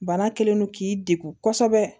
Bana kɛlen don k'i degun kosɛbɛ